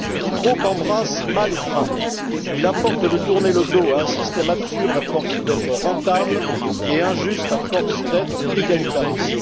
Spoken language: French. Qui trop embrasse, mal étreint il importe de tourner le dos à un système absurde à force d'être rentable et injuste à force d'être égalitariste.